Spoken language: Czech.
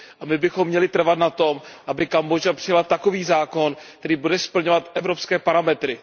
My bychom měli trvat na tom, aby Kambodža přijala takový zákon, který bude splňovat evropské parametry.